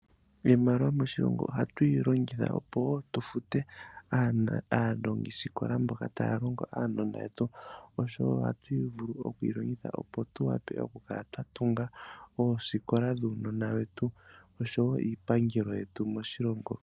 Iimaliwa moshilongo oha tuyi longitha tufute aalongisikola mboka taya longo uunona oshowo ohatu vulu okuyi longitha opo tuwape okukala twatunga oosikola dhuunona wetu oshowo iipangelo yetu moshilongo.